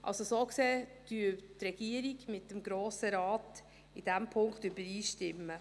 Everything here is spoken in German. So gesehen stimmen die Regierung und der Grosse Rat in diesem Punkt überein.